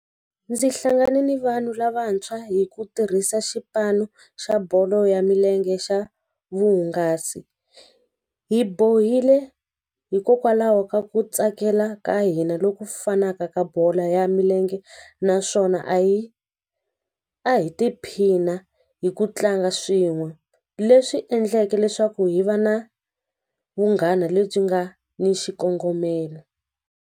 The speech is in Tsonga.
Ndzi hlangane ni vanhu lavantshwa hi ku tirhisa xipano xa bolo ya milenge xa vuhungasi hi bohile hikokwalaho ka ku tsakela ka hina loku fanaka bolo ya milenge naswona a hi a hi tiphina hi ku tlanga swin'we leswi endlaka leswaku hi va na vunghana lebyi nga ni xikongomelo.